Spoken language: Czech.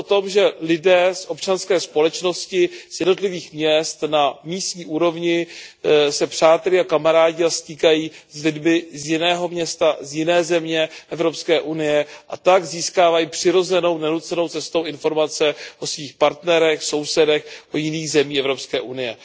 Je to o tom, že lidé z občanské společnosti z jednotlivých měst na místní úrovni se přátelí a kamarádí a stýkají s lidmi z jiného města z jiné země Evropské unie a tak získávají přirozenou, nenucenou cestou informace o svých partnerech, sousedech z jiných zemí Evropské unie.